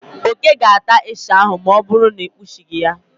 Oke ga-ata ịsha ahụ ma ọ bụrụ na ị kpuchị ya.